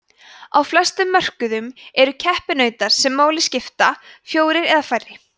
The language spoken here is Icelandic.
á flestum mörkuðum eru keppinautar sem máli skipta fjórir eða færri